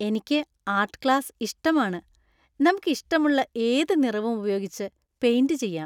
എനിക്ക് art class ഇഷ്ടമാണ്. നമുക്ക് ഇഷ്ടമുള്ള ഏത് നിറവും ഉപയോഗിച്ച് പെയിന്‍റ് ചെയ്യാം .